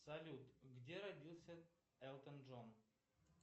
салют где родился элтон джон